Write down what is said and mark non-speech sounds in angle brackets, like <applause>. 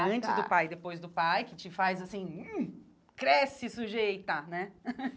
Ah tá antes do pai e depois do pai, que te faz assim... <unintelligible> Cresce sujeita, né? <laughs>